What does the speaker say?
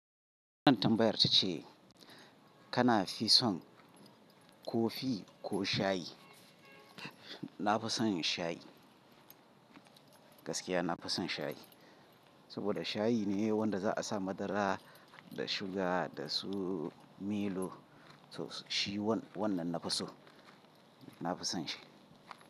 Wannan tambayar tace kana fison kofi ko shayi? Na fison shayi, gaskiya nafi son shayi, saboda shayi ne wanda za'a sa madara da suga dasu milo. To shi wannan nafi so, nafi son shi.